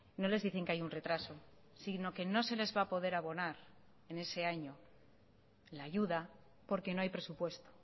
no les dicen que hay un retraso sino que no se les va a poder abonar en ese año la ayuda porque no hay presupuesto